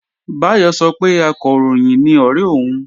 Báyọ̀ sọ pé Akọ̀ròyìn ni ọ̀ré òun